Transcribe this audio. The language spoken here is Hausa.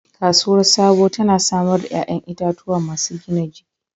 Kasuwar Sabo tana samar da 'ƴa'ƴan itatuwa masu gina jiki.